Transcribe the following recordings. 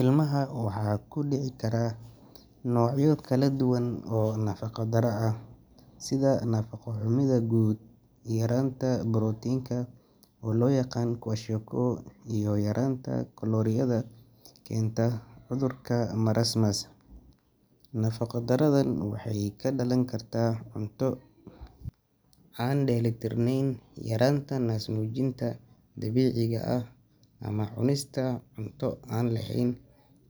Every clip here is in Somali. Ilmaha waxaa ku dhici kara noocyo kala duwan oo nafaqo darro ah sida nafaqo-xumida guud, yaraanta borotiinka oo loo yaqaan kwashiorkor, iyo yaraanta kalooriyada oo keenta cudurka marasmus. Nafaqo darradan waxay ka dhalan kartaa cunto aan dheelitirneyn, yaraanta naasnuujinta dabiiciga ah, ama cunista cunto aan lahayn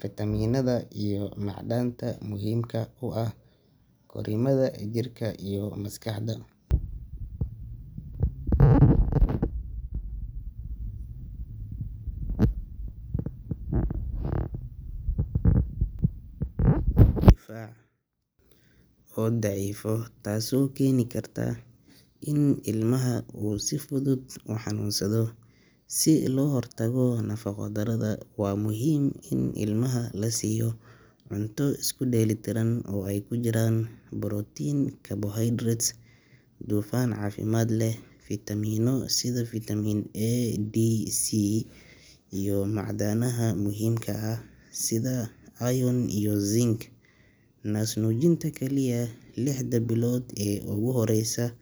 fiitamiinada iyo macdanta muhiimka u ah korriimada jirka iyo maskaxda. Calaamadaha lagu garto waxaa ka mid ah miisaanka oo yaraada, gaajo joogto ah, caajis, iyo habdhis difaac oo daciifa taasoo keeni karta in ilmaha uu si fudud u xanuunsado. Si loo hortago nafaqo-darrada, waa muhiim in ilmaha la siiyo cunto isku dheelitiran oo ay ku jiraan borotiin, carbohydrates, dufan caafimaad leh, fiitamiino sida vitamin A, D, C iyo macdanaha muhiimka ah sida iron iyo zinc. Naasnuujinta kaliya lixda bilood ee ugu horreysa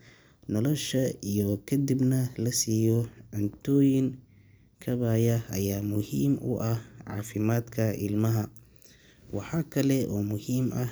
nolosha iyo kadibna la siiyo cuntooyin kaabaya ayaa muhiim u ah caafimaadka ilmaha. Waxa kale oo muhiim ah.